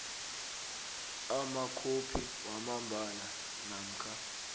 amakhophi wamambala namkha